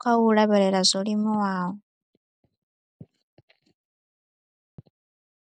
kha u lavhelela zwo limiwaho.